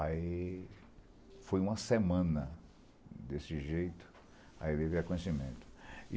Aí foi uma semana desse jeito, aí veio o reconhecimento.